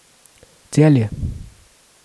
Celje.